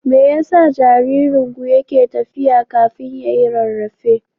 Me yasa jaririnku yake tafiya kafin ya yi rarrafe?